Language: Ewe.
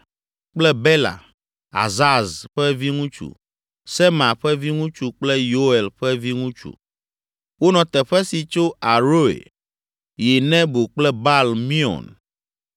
kple Bela, Azaz ƒe viŋutsu, Sema ƒe viŋutsu kple Yoel ƒe viŋutsu. Wonɔ teƒe si tso Aroer yi Nebo kple Baal Meon.